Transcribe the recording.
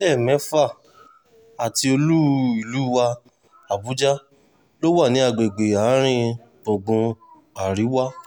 ìpínlẹ̀ mẹ́fà àti olú-ìlú wa àbújá ló wà ní agbègbè àárín-gbùngbùn àríwá